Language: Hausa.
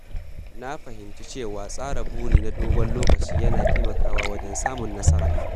Na fahimci cewa tsara buri na dogon lokaci yana taimakawa wajen samun nasara.